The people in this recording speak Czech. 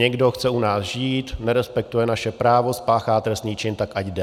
Někdo chce u nás žít, nerespektuje naše právo, spáchá trestný čin, tak ať jde.